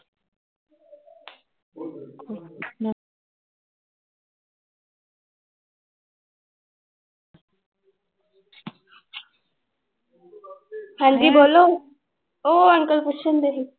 ਹਾਂਜੀ ਬੋਲੋ ਉਹ ਅੰਕਲ ਪੁੱਛਣਡੇ ਸੀ।